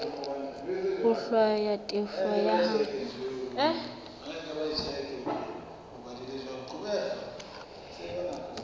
ho hlwaya tefo ya hao